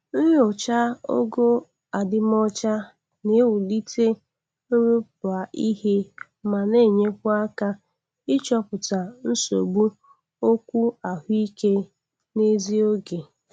Nyocha ogo adimọcha na- ewulite nrụpụa ihema.na-enyekwa aka ichọpụta nsogbu okwu ahụ ike n'ezi oge.